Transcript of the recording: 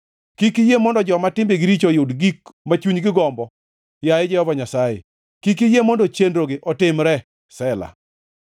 Kik iyie mondo joma timbegi richo oyud gik ma chunygi gombo, yaye Jehova Nyasaye; kik iyie mondo chenrogi otimre. Sela